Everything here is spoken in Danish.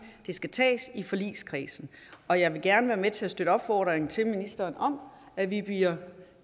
det skal tages i forligskredsen og jeg vil gerne være med til at støtte en opfordring til ministeren om at vi bliver